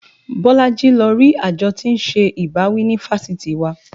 Bolaji lọ rí àjọ tí ń ṣe ìbáwí ní fáṣítì wa